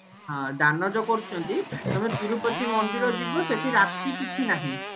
ଦାନ ଯୋଉ କରୁଚନ୍ତି ତମେ ତିରୁପତି ମନ୍ଦିର ଯିବ ସେଠି ରାତି କିଛି ନାହିଁ